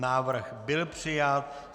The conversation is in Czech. Návrh byl přijat.